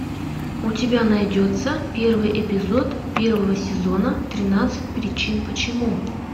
у тебя найдется первый эпизод первого сезона тринадцать причин почему